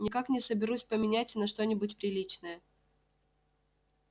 никак не соберусь поменять на что-нибудь приличное